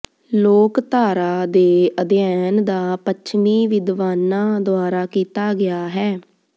ਲੋਕਧਾਰਾ ਦੇ ਅਧਿਐਨ ਦਾ ਪੱਛਮੀ ਵਿਦਵਾਨਾਂ ਦੁਆਰਾ ਕੀਤਾ ਗਿਆ ਹੈ